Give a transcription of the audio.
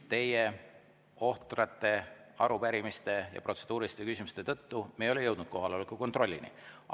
Teie ohtrate arupärimiste ja protseduuriliste küsimuste tõttu me ei ole kohaloleku kontrollini jõudnud.